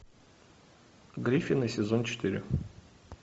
гриффины сезон четыре